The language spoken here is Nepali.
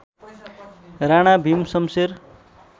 राणा भिम शम्शेर